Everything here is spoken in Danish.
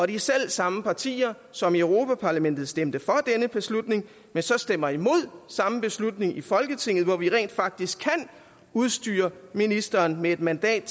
de selv samme partier som i europa parlamentet stemte for denne beslutning stemmer imod den samme beslutning i folketinget hvor vi rent faktisk kan udstyre ministeren med et mandat